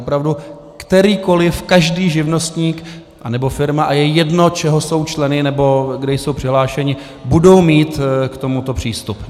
Opravdu, kterýkoliv, každý živnostník nebo firma, a je jedno, čeho jsou členy nebo kde jsou přihlášeni, budou mít k tomuto přístup.